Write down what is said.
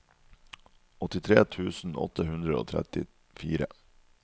åttitre tusen åtte hundre og trettifire